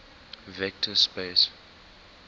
vector space